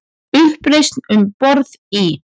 Uppreisn um borð í